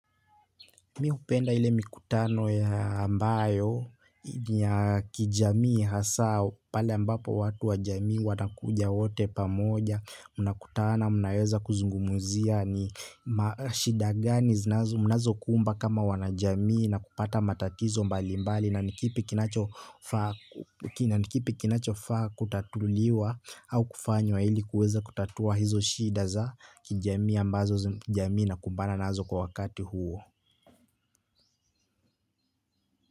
Mihupenda ile mikutano ya ambayo ni ya kijamii hasa pale ambapo watu wa jamii watakuja wote pamoja. Una kutana, mnaweza kuzungumuzia ni shida gani zinazo, mnazo kumba kama wana jamii na kupata matatizo mbali mbali na ni kipi kinachofaa. Na nikipi kinachofaa kutatuliwa au kufanywa ili kuweza kutatua hizo shida za kijamii ambazo jamii inakumbana nazo kwa wakati huo.